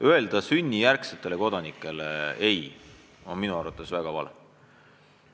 Öelda sünnijärgsetele kodanikele "ei" on minu arvates väga vale.